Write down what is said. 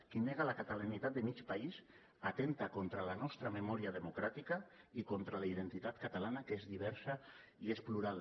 qui nega la catalanitat de mig país atempta contra la nostra memòria democràtica i contra la identitat catalana que és diversa i és plural